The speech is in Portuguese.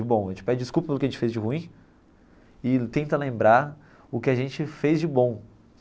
Bom a gente pede desculpa pelo que a gente fez de ruim e tenta lembrar o que a gente fez de bom.